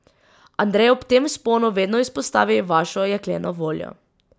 Andrej ob tem vzponu vedno izpostavi vašo jekleno voljo.